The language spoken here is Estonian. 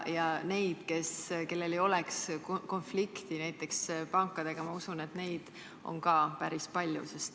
Ka neid, kellel ei oleks huvide konflikti näiteks pankadega, ma usun, on ka päris palju.